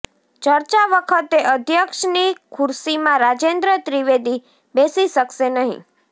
ચર્ચા વખતે અધ્યક્ષની ખુરશીમાં રાજેન્દ્ર ત્રિવેદી બેસી શકશે નહી